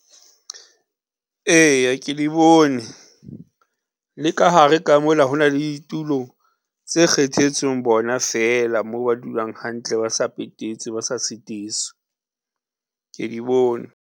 Eya ke di bone, le ka hare ka mola ho na le tulo tse kgethetsweng bona feela mo ba dulang hantle, ba sa petetswe ba sa sitiswi ke di bone.